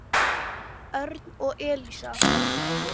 Örn og Elísa.